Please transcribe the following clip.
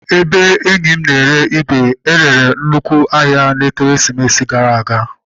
Ebe enyi m na-ere igwe e rere nnukwu ahia n'ekeresimesi gara aga.